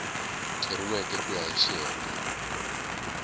thoriweke ku ya hi xiyenge